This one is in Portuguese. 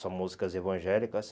São músicas evangélicas.